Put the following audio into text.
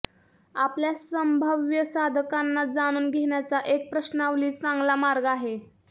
आपल्या संभाव्य साधकांना जाणून घेण्याचा एक प्रश्नावली चांगला मार्ग आहे